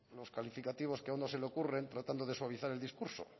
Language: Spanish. los calificativos que a uno se le ocurren tratando de suavizar el discurso